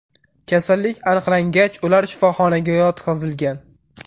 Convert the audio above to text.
Kasallik aniqlangach, ular shifoxonaga yotqizilgan.